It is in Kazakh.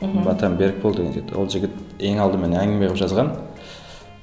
мхм батан берікбол деген жігіт ол жігіт ең алдымен әңгіме қылып жазған